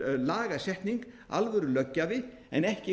þetta yrði alvörulagasetning alvörulöggjafi en ekki